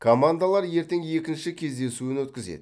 командалар ертең екінші кездесуін өткізеді